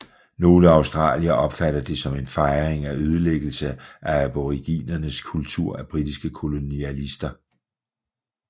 Nogle australiere opfatter det som en fejring af ødelæggelse af aboriginernes kultur af britiske kolonialister